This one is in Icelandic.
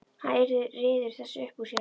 Hann ryður þessu upp úr sér.